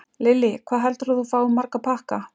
Lillý: Hvað heldurðu að þú fáir marga pakka?